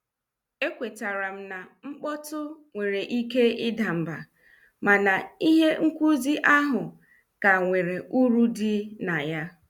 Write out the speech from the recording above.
E kwetaram na mkpọtụ were ike ịda mbà mana ihe nkụzi ahụ ka nwere uru dị na ya.